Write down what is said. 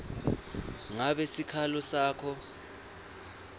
ngabe sikhalo sakho